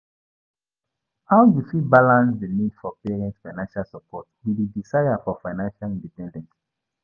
How you fit balance di need for parents' financial support with di desire for financial independence?